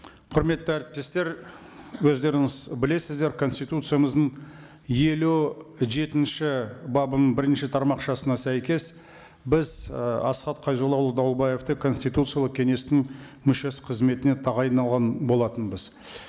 құрметті әріптестер өздеріңіз білесіздер конституциямыздың елу жетінші бабының бірінші тармақшасына сәйкес біз ы асхат қайзоллаұлы дауылбаевты конституциялық кеңестің мүшесі қызметіне тағайындаған болатынбыз